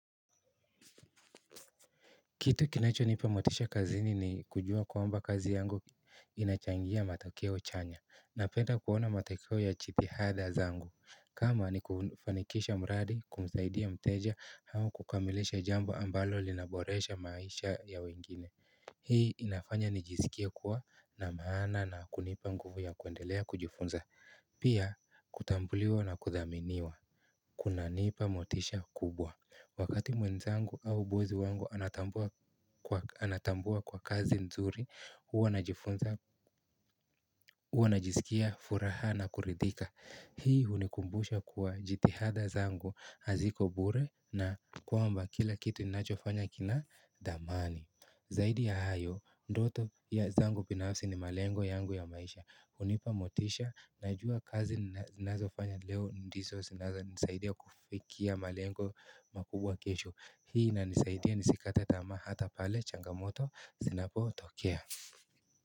Kitu kinachonipa motisha kazini ni kujua kwamba kazi yangu inachangia mtakeo chanya Napenda kuona mtakeo ya chithihadha zangu kama ni kufanikisha mradi kumsaidia mteja au kukamilisha jambo ambalo linaboresha maisha ya wengine Hii inafanya nijiskie kuwa na maana na kunipa nguvu ya kuendelea kujufunza pia kutambuliwa na kuthaminiwa kunanipa motisha kubwa Wakati mwenzangu au bozi wangu anatambua kwa kazi nzuri, huo najisikia furaha na kuridhika. Hii unikumbusha kwa jitihada zangu haziko bure na kwamba kila kitu ninacho fanya kina damani. Zaidi ya hayo, ndoto ya zangu pinafsi ni malengo yangu ya maisha. Unipa motisha, najua kazi ninazo fanya leo ndiso, nsaidia kufikia malengo makubwa kesho. Hii inanisaidia nisikate tamaa hata pale changamoto Sinapo tokea.